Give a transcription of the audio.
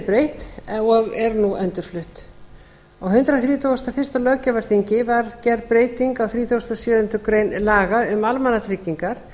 breytt og er nú endurflutt á hundrað þrítugasta og fyrsta löggjafarþingi var gerð breyting á þrítugasta og sjöundu grein laga um almannatryggingar